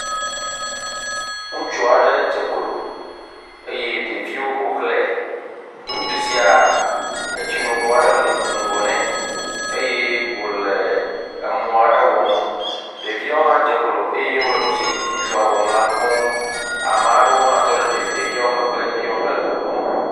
Ŋutsu aɖe dze klo eye ɖeviwo ƒo xlɛɛ, ŋutsu siaa, etsinuŋu aɖe le ŋgɔ nɛ eye wòle mɔ aɖe wɔm. Ɖeviawo hã dze klo eye wole nu si ŋutsua wɔm la kpɔm, ame aɖewo hã tɔ ɖe ɖeviawo megbe eye wohã wole le nu kpɔm.